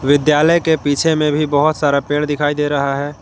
विद्यालय के पीछे में भी बहुत सारा पेड़ दिखाई दे रहा है।